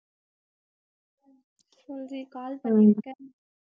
சொல்றீ call பன்னிருக்க